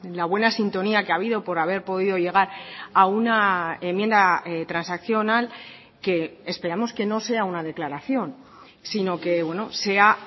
la buena sintonía que ha habido por haber podido llegar a una enmienda transaccional que esperamos que no sea una declaración sino que sea